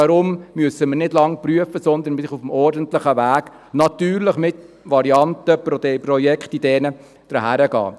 Deshalb müssen wir nicht lange prüfen, sondern können auf dem normalen Weg, natürlich mit verschiedenen Varianten und Projektideen, an die Sache herangehen.